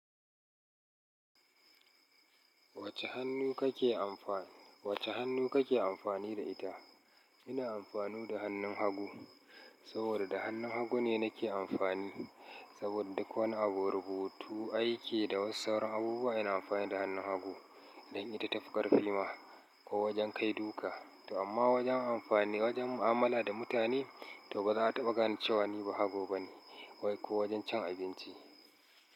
Wace hannu kake amfani, wace hannu kake amfani da ita? Ina amfani da hannun hagu, saboda da hannun hagu ne nake amfani. Saboda duk wani abu, rubutu, aiki da wasu sauran abubuwa ina amfani da hannun hagu. Dan ita tafi karfi ma ko wajen kai duka. To amma wajen amfani, wajen mu'amala da mutane to ba za a taɓa gane cewane ba hago bane. Ko wajen cin abinci.